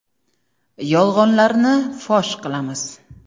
Yolg‘onlarni fosh qilamiz.